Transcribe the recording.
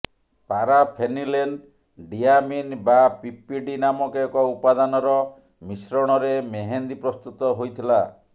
ପାରା phenylene diamine ବା PPD ନାମକ ଏକ ଉପାଦାନର ମିଶ୍ରଣରେ ମେହେନ୍ଦି ପ୍ରସ୍ତୁତ ହୋଇଥିଲା